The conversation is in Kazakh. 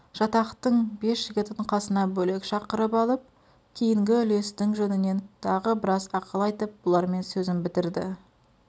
жатақтың бес жігітін қасына бөлек шақырып алып кейінгі үлестің жөнінен тағы біраз ақыл айтып бұлармен сөзін бітірді